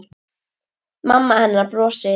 Mamma hennar brosir.